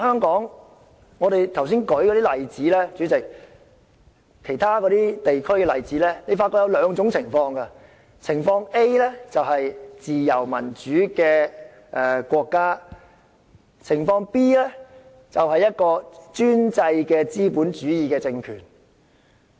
主席，其他議員剛才舉出其他地區為例子，我發覺當中有兩種類別：情況 A 是自由民主的國家，而情況 B 就是專制的資本主義政權。